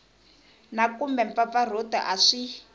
na kumbe mpfampfarhuto a swi